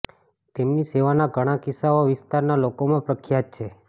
તેમની સેવાના ઘણાં કિસ્સા આ વિસ્તારના લોકોમાં પ્રખ્યાત છે